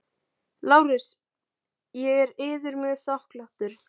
LÁRUS: Ég er yður mjög þakklátur.